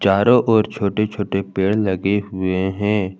चारों ओर छोटे छोटे पेड़ लगे हुए हैं।